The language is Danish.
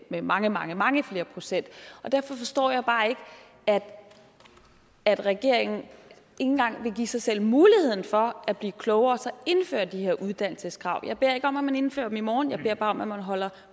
med mange mange mange flere procent derfor forstår jeg bare ikke at regeringen ikke engang vil give sig selv muligheden for at blive klogere og så indføre de her uddannelseskrav jeg beder ikke om at man indfører dem i morgen jeg beder bare om at man holder